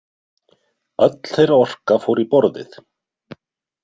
Öll þeirra orka fór í borðið.